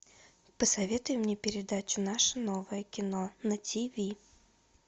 посоветуй мне передачу наше новое кино на тв